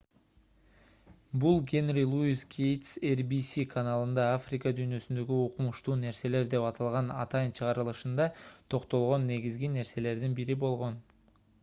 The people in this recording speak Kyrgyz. бул генри луис гейтс rbs каналында африка дүйнөсүндөгү укмуштуу нерселер деп аталган атайын чыгарылышында токтолгон негизги нерселердин бири болгон